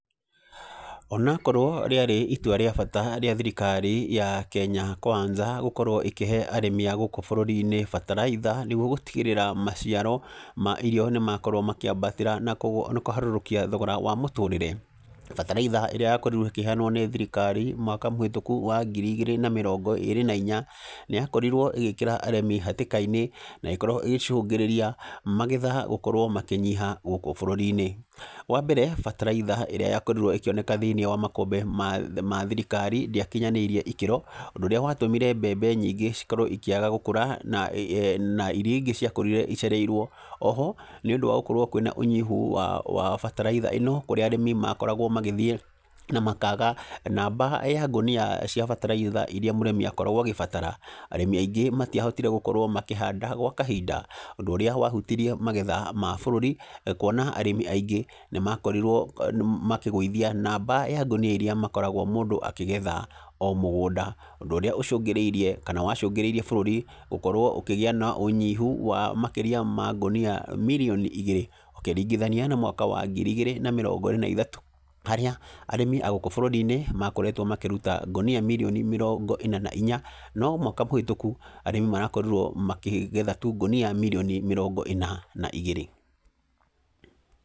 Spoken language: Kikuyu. Ona akorwo rĩarĩ itua rĩa bata rĩa thirikari ya Kenya Kwanza gũkorwo ĩkĩhe arĩmi a gũkũ bũrũri-inĩ bataraitha nĩguo gũtigĩrĩra maciaro ma irio nĩ makorwo makĩambatĩra na kũharũrũkia thogora wa mũtũrĩre, bataraitha ĩrĩa yakorirwo ĩkĩheanwo nĩ thirikari mwaka mũhĩtũku wa ngiri igĩrĩ na mĩrongo ĩĩrĩ na inya, nĩ yakorirwo ĩgĩkĩra arĩmi hatĩka-inĩ, na ĩgĩkorwo ĩgĩcũngĩrĩria magetha gũkorwo makĩnyiha gũkũ bũrũri-inĩ. Wa mbere bataraitha ĩrĩa yakorirwo ĩkĩoneka thĩiniĩ wa makũmbĩ ma ma thirikari ndĩakinyanĩirie ikĩro, ũndũ ũrĩa watũmire mbembe nyingĩ cikorwo ikĩaga gũkũra na na irĩa ingĩ ciakũrire icereirwo. Oho, nĩ ũndũ wa gũkorwo kwĩna ũnyihu wa wa bataraitha ĩno, kũrĩa arĩmi makoragwo magĩthiĩ na makaga, namba ya ngũnia cia bataraitha irĩa mũrĩmi akoragwo agĩbatara, arĩmi aingĩ matiahotire gũkorwo makĩhanda gwa kahinda, ũndũ ũrĩa wahutirie magetha ma bũrũri, kuona arĩmi aingĩ, nĩ makorirwo makĩgũithia namba ya ngũnia irĩa makoragwo mũndũ akĩgetha o mũgũnda. Ũndũ ũrĩa ũcũngĩrĩirie, kana wacũngĩrĩirie bũrũri, ũkorwo ũkĩgĩa na ũnyihu wa makĩria ma ngũnia mirioni igĩrĩ, ũkĩringithania na mwaka wa ngiri igĩrĩ na mĩrongo ĩĩrĩ wa ithatũ, harĩa arĩmi a gũkũ bũrũri-inĩ, makoretwo makĩruta ngũnia mirioni mĩrongo ĩna na inya. No mwaka mũhĩtũku, arĩmi marakorirwo makĩgetha tu ngũnia mirioni mĩrongo ĩna na igĩrĩ,